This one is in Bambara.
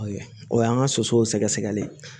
O y'an ka sosow sɛgɛsɛgɛli ye